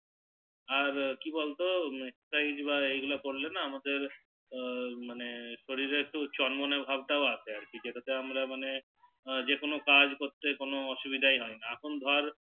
আর কি বল তো এই গুলো করলে আমাদের হু শরীরের একটু চোন মনে ভাব টাও আছে যে টা তে আমরা মানে যে কোনো কাজ করতে কোনো অসুবিধা হয়না এখন ধর